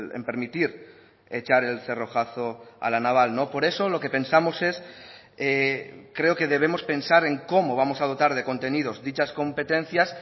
en permitir echar el cerrojazo a la naval por eso lo que pensamos es creo que debemos pensar en cómo vamos a dotar de contenidos dichas competencias